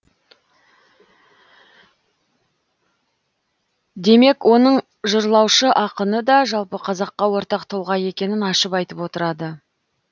демек оның жырлаушы ақыны да жалпы қазаққа ортақ тұлға екенін ашып айтып отырады